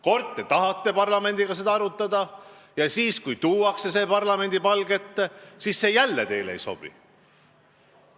Kord te tahate parlamendiga seda arutada ja siis, kui see tuuakse parlamendi palge ette, siis see jälle teile ei sobi.